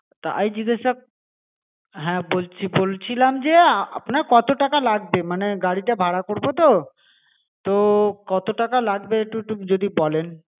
তাই জিজ্ঞাসা হ্যা বলছি বলছিলাম যে আপনার কত টাকা লাগবে মানে গাড়িটা ভাড়া করবো তো, তো কত টাকা একটু একটু যদি বলেন.